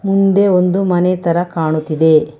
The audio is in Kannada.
ಮುಂದೆ ಒಂದು ಮನೆ ತರ ಕಾಣುತ್ತಿದೆ.